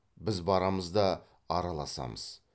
біз барамыз да араласамыз